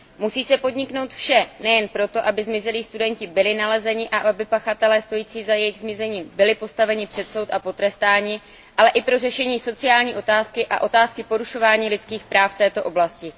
Musí se podniknout vše nejen pro to, aby zmizelí studenti byli nalezeni a aby pachatelé stojící za jejich zmizením byli postaveni před soud a potrestáni, ale i pro řešení sociální otázky a otázky porušování lidských práv v této oblasti.